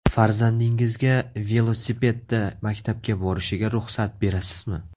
Farzandingizga velosipedda maktabga borishiga ruxsat berasizmi?